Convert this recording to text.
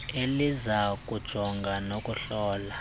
eliza kujongana nokuhlola